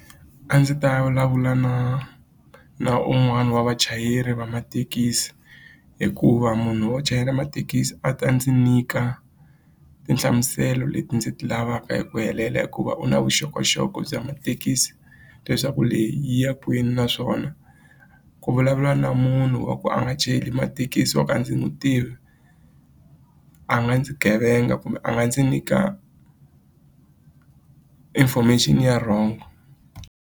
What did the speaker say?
A ndzi ta vulavula na na un'wana wa vachayeri va mathekisi hikuva munhu wo chayela mathekisi a ta ndzi nyika tinhlamuselo leti ndzi ti lavaka hi ku helela hikuva u na vuxokoxoko bya mathekisi leswaku leyi yi ya kwini naswona ku vulavula na munhu wa ku a nga chayeli mathekisi wa ku a ndzi n'wi tivi a nga ndzi gevenga kumbe a nga ndzi nyika information ya wrong.